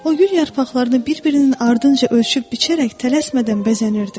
O gül yarpaqlarını bir-birinin ardınca ölçüb-biçərək tələsmədən bəzənirdi.